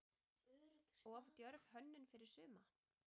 Of djörf hönnun fyrir suma?